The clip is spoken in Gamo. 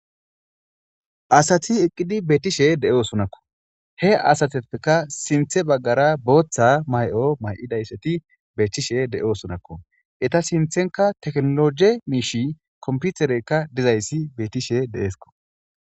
Asati eqqidi beettishe de7o sonakko he asateppeka sinthe baggara booththa may7o may7idayssati beethtishe de7oo sonakko eta sinthenka teknologe miishi komputereykka dizayssi bettishe deeesko.